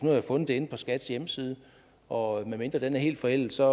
jeg fundet det inde på skats hjemmeside og medmindre den er helt forældet ser